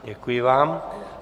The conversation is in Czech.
Děkuji vám.